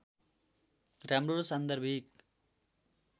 राम्रो र सान्दर्भिक